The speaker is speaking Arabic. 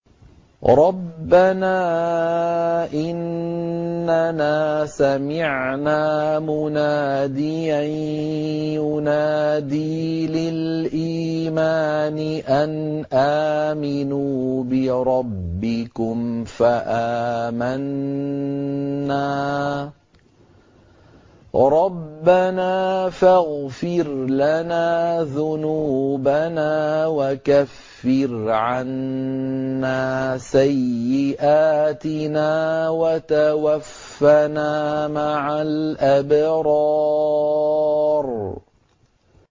رَّبَّنَا إِنَّنَا سَمِعْنَا مُنَادِيًا يُنَادِي لِلْإِيمَانِ أَنْ آمِنُوا بِرَبِّكُمْ فَآمَنَّا ۚ رَبَّنَا فَاغْفِرْ لَنَا ذُنُوبَنَا وَكَفِّرْ عَنَّا سَيِّئَاتِنَا وَتَوَفَّنَا مَعَ الْأَبْرَارِ